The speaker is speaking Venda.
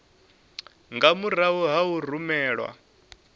nga murahu ha u rumelwa